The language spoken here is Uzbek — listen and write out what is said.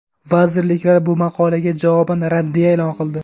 Vazirliklar bu maqolaga javoban raddiya e’lon qildi.